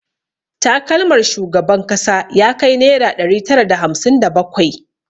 Takalmar shugaban kasa ya kai naira ɗari tara da hamsin da bakwai